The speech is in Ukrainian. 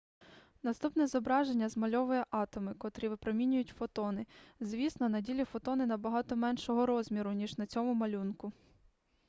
наступне зображення змальовує атоми котрі випромінюють фотони звісно на ділі фотони набагато меншого розміру ніж на цьому малюнку